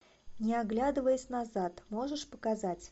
не оглядываясь назад можешь показать